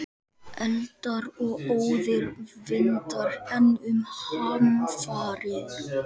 Eldar og óðir vindar- enn um hamfarir